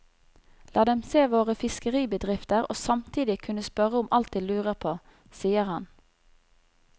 La dem se våre fiskeribedrifter og samtidig kunne spørre om alt de lurer på, sier han.